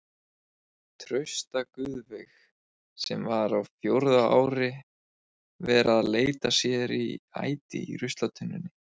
Trausta Guðveig sem var á fjórða ári vera að leita sér að æti í ruslatunnunni.